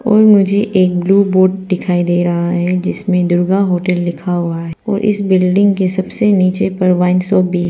मुझे एक blue board दिखाई दे रहा है जिसमें दुर्गा होटल लिखा हुआ है और इस बिल्डिंग के सबसे नीचे पर वाइन शॉप भी--